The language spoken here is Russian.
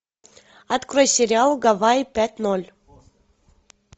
открой сериал гавайи пять ноль